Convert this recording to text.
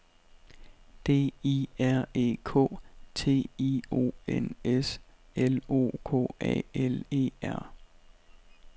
D I R E K T I O N S L O K A L E R